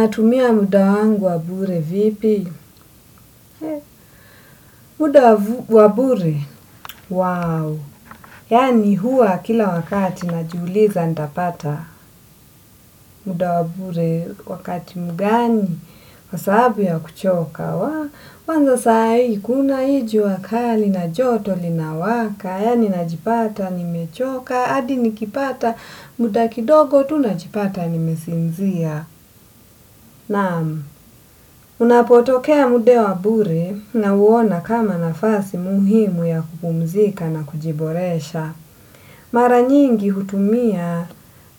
Natumia muda wangu wabure vipi? Muda wabure? Wow! Yani huwa kila wakati najiuliza ntapata. Muda wabure wakati mugani? Kwa saabi ya kuchoka. Kwanza sai kuna i ju akali na joto lina waka. Yani najipata, nimechoka. Adi nikipata, muda kidogo tu najipata, nimesinzia. Naamu. Unapotokea muda wa bure nauona kama nafasi muhimu ya kupumzika na kujiboresha. Maranyingi hutumia